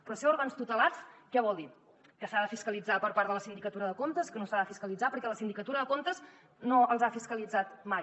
però això d’ òrgans tutelats què vol dir que s’ha de fiscalitzar per part de la sindicatura de comptes que no s’ha de fiscalitzar perquè la sindicatura de comptes no els ha fiscalitzat mai